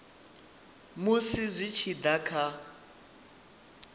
musi zwi tshi da kha